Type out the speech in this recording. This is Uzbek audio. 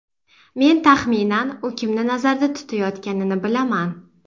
Men taxminan u kimni nazarda tutayotganini bilaman.